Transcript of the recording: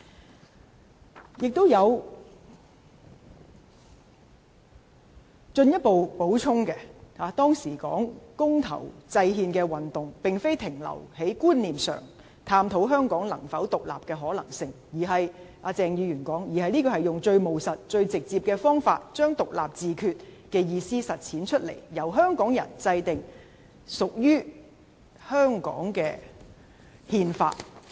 "此外，他還有進一步補充，指出當時的公投制憲運動，並非停留在觀念上探討香港能否獨立的可能性——據鄭議員指——而是以最務實、最直接的方法，將獨立自決的意思實踐出來，由香港人制定屬於香港的憲法。